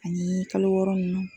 Ani kalo wɔɔrɔ nunnu